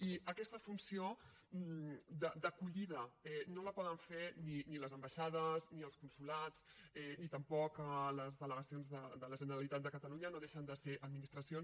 i aquesta funció d’acollida no la poden fer ni les ambaixades ni els consolats ni tampoc les delegacions de la generalitat de catalunya no deixen de ser administracions